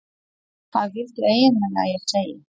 Hvað viltu eiginlega að ég segi?